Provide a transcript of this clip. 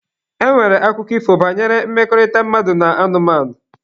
E nwere akụkọ ifo banyere mmekọrịta mmadụ na anụmanụ.